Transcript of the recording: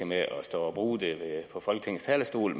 med at stå og bruge det fra folketingets talerstol